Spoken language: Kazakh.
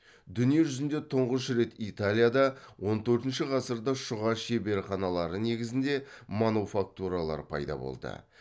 дүние жүзінде тұңғыш рет италияда он төртінші ғасырда шұға шеберханалары негізінде мануфактуралар пайда болды